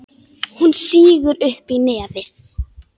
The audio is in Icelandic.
Hún sýgur upp í nefið.